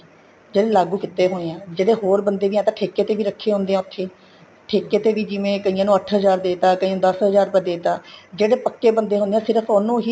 ਜਿਹੜੇ ਲਾਗੂ ਕੀਤੇ ਹੋਏ ਹਾਂ ਜਿਹੜੇ ਹੋਰ ਬੰਦੇ ਠੇਕੇ ਦੇ ਵੀ ਰੱਖ਼ੇ ਹੁੰਦੇ ਹਾਂ ਉਥੇ ਠੇਕੇ ਤੇ ਜਿਵੇਂ ਕਈਆਂ ਨੂੰ ਅੱਠ ਹਜ਼ਾਰ ਦੇ ਤਾਂ ਕਈਆਂ ਨੂੰ ਦੱਸ ਹਜ਼ਾਰ ਰੁਪਇਆ ਦੇ ਤਾਂ ਜਿਹੜੇ ਪੱਕੇ ਬੰਦੇ ਹੁੰਦੇ ਹੈ ਸਿਰਫ਼ ਉਹਨੂੰ ਹੀ